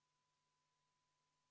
Palun võtta seisukoht ja hääletada!